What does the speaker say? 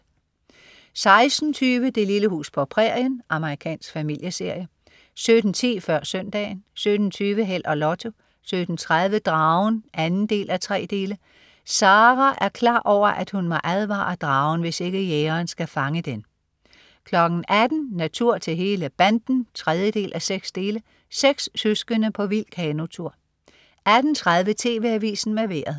16.20 Det lille hus på prærien. Amerikansk familieserie 17.10 Før Søndagen 17.20 Held og Lotto 17.30 Dragen 2:3. Sara er klar over, at hun må advare dragen, hvis ikke jægeren skal fange den 18.00 Natur til hele banden 3:6. Seks søskende på vild kanotur 18.30 TV Avisen med Vejret